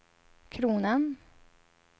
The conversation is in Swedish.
kronan